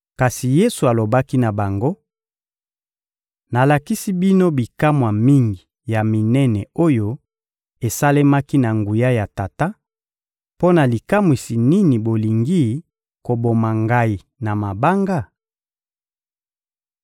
kasi Yesu alobaki na bango: — Nalakisi bino bikamwa mingi ya minene oyo esalemaki na nguya ya Tata; mpo na likamwisi nini bolingi koboma Ngai na mabanga?